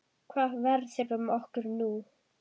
Hvað verður um okkur nú?